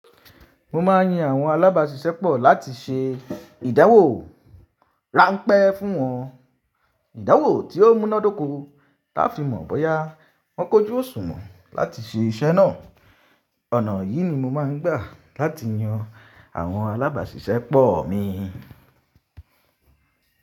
Mo ma ń yin àwọn alábàáṣiṣẹ́ pọ̀ láti ṣe ìdánwò ráńpẹ́ fún wọn. Ìdáwò tí ó mú ná dóko ta fi mọ̀ ọ́ bọ́yá wọ́n kójú òṣùnmọ̀ láti ṣe iṣẹ́ náà. Ọ̀nà yìí ni mo máa ń gbà láti yan àwọn alábàáṣiṣẹ́ pọ̀ mi.